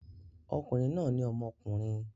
Okùnrin náà ní ọmọkùnrin.